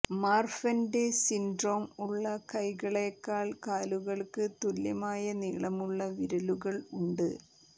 മാർഫന്റെ syndrome ഉള്ള കൈകളേക്കാൾ കാലുകൾക്ക് തുല്യമായ നീളമുള്ള വിരലുകൾ ഉണ്ട്